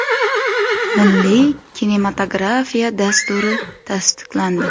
Milliy kinematografiya dasturi tasdiqlandi.